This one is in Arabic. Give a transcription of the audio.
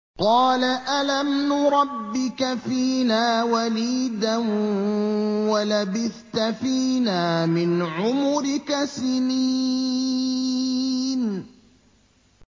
قَالَ أَلَمْ نُرَبِّكَ فِينَا وَلِيدًا وَلَبِثْتَ فِينَا مِنْ عُمُرِكَ سِنِينَ